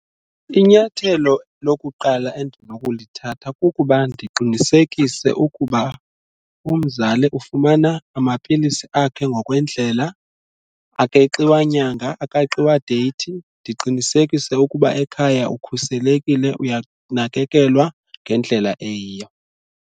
Inyathelo lokuqala endinokulithatha kukuba ndiqinisekise ukuba umzali ufumana amapilisi akhe ngokwendlela akeqiwa nyanga, akeqiwa deyithi. Ndiqinisekise ukuba ekhaya ukhuselekile, uyanakekelwa ngendlela eyiyo.